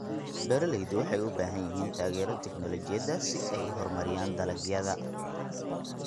Beeraleydu waxay u baahan yihiin taageero tignoolajiyadeed si ay u horumariyaan dalagyada.